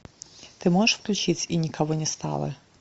ты можешь включить и никого не стало